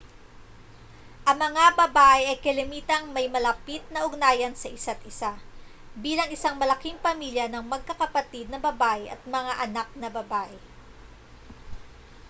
ang mga babae ay kalimitang may malapit na ugnayan sa isa't isa bilang isang malaking pamilya ng magkakapatid na babae at mga anak na babae